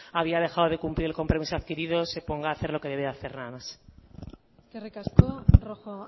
había dejado de cumplir el compromiso adquirido se ponga a hacer lo que debe de hacer nada más eskerrik asko rojo